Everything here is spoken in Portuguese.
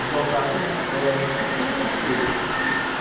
Aí voltava tudinho a pé, era uma coisa.